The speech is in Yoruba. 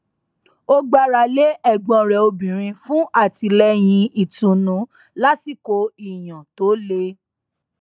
ó gbára lé ẹgbọn rẹ obìnrin fún àtìlẹyìn ìtùnú lásìkò ìyàn tó le